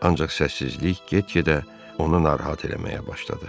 Ancaq səssizlik get-gedə onu narahat eləməyə başladı.